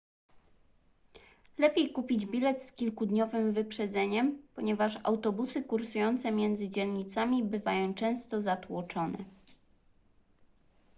lepiej kupić bilet z kilkudniowym wyprzedzeniem ponieważ autobusy kursujące między dzielnicami bywają często zatłoczone